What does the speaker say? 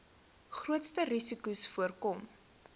grootste risikos voorkom